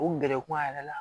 O gɛrɛku a yɛrɛ la